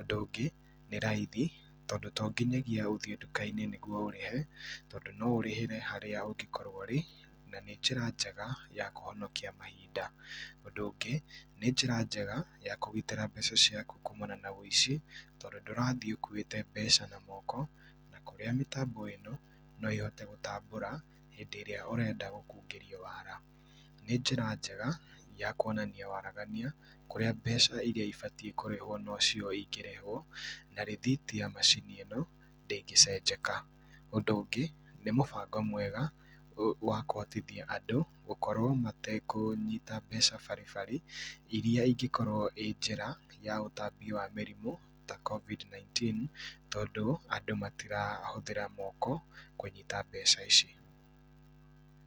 Ũndũ ũngĩ nĩ raithi tondũ tonginyagia ũthiĩ nduka-inĩ nĩguo ũrĩhe, tondũ no ũrĩhĩre harĩa ũngĩkorwo ũrĩ, na nĩ njĩra njega ya kũhonokia mahinda. Ũndũ ũngĩ nĩ njĩra njega ya kũgitĩra mbeca ciaku kũũmana na ũici tondũ ndũrathiĩ ũkuĩte mbeca na moko, na kũrĩa mĩtambo ĩno no ĩhote gũtambũra, hĩndĩ ĩrĩa ũrenda gũkungĩrio wara. Nĩ njĩra njega ya kuonania waragania kũrĩa mbeca iria ibatiĩ nĩ kũrĩhwo nocio ingĩrĩhwo, na rĩthiti ya macini ĩno ndĩngĩcenjeka. Ũndũ ũngĩ, nĩ mũbango mwega w wa kũhotithia andũ gũkorwo matekũnyita mbeca baribari iria ingĩkorwo ĩ njĩra ya ũtambia mĩrimũ ta covid 19 tondũ andũ matirahũthĩra moko kũnyita mbeca ici.